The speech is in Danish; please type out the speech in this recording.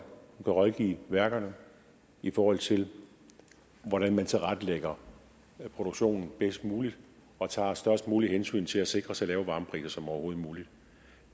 der kan rådgive værkerne i forhold til hvordan man tilrettelægger produktionen bedst muligt og tager størst muligt hensyn til at sikre så lave varmepriser som overhovedet muligt